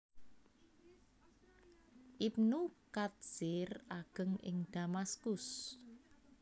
Ibnu Katsir ageng ing Damaskus